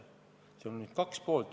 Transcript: Seal on nüüd kaks poolt.